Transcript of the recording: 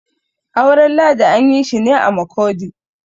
auren ladi an yi shi ne a Makurdi